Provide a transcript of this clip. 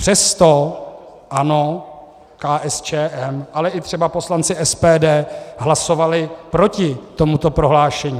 Přesto ANO, KSČM, ale třeba i poslanci SPD hlasovali proti tomuto prohlášení.